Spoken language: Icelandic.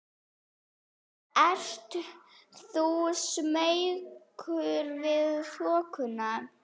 Ert þú smeykur við þokuna?